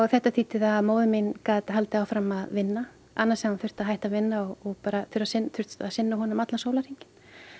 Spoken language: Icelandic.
þetta þýddi það að móðir mín gat haldið áfram að vinna annars hefði hún þurft að hætta að vinna og bara þurft að sinna honum allan sólarhringinn